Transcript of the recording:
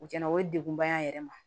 U tiɲɛna o ye degunba ye an yɛrɛ ma